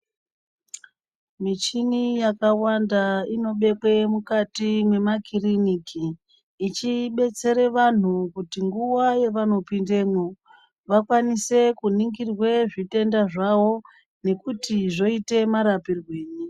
Michini yakawanda inobekwe mukati memwakiriniki ichibetsere vantu kuti nguva yavanopindemo vakwanise kuningirwa zvitenda zvavo nekuti zvoite marapirwenyi.